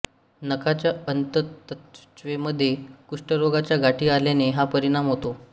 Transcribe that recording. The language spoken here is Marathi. नाकाच्या अंतत्वचेमध्ये कुष्ठरोगाच्या गाठी आल्याने हा परिणाम होतो